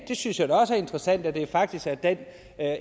det synes jeg da også er interessant at det faktisk er den